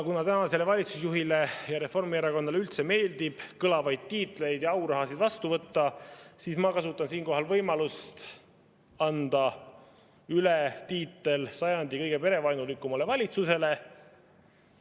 Kuna tänasele valitsusjuhile ja Reformierakonnale üldse meeldib kõlavaid tiitleid ja aurahasid vastu võtta, siis ma kasutan siinkohal võimalust anda valitsusele üle sajandi kõige perevaenulikuma valitsuse tiitel.